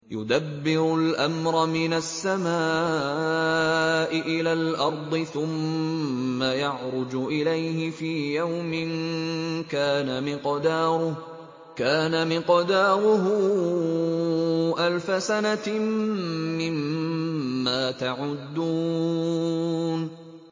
يُدَبِّرُ الْأَمْرَ مِنَ السَّمَاءِ إِلَى الْأَرْضِ ثُمَّ يَعْرُجُ إِلَيْهِ فِي يَوْمٍ كَانَ مِقْدَارُهُ أَلْفَ سَنَةٍ مِّمَّا تَعُدُّونَ